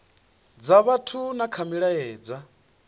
dza vhathu na kha milaedza